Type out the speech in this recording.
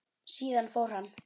Síðan fór hann.